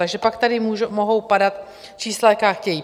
Takže pak tady mohou padat čísla, jaká chtějí.